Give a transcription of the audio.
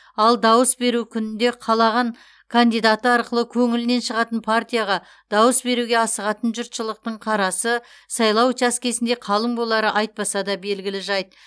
ал дауыс беру күнінде қалаған кандидаты арқылы көңілінен шығатын партияға дауыс беруге асығатын жұртшылықтың қарасы сайлау учаскесінде қалың болары айтпаса да белгілі жайт